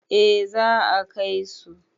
eh za a Kai su